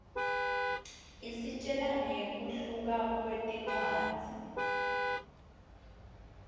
isitjela nqekuhluka kwetindzawo